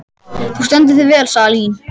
Þú stendur þig vel, Salín!